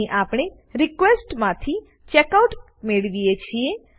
અહીં આપણે રિક્વેસ્ટ માંથી ચેકઆઉટ મેળવીએ છીએ